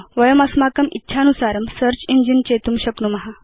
वयं अस्माकम् इच्छानुसारं सेऽर्च इञ्जिन चेतुं शक्नुम